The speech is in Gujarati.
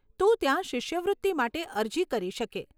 તું ત્યાં શિષ્યવૃત્તિ માટે અરજી કરી શકે.